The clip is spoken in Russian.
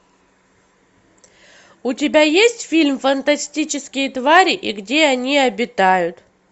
у тебя есть фильм фантастические твари и где они обитают